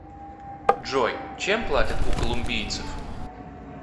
джой чем платят у колумбийцев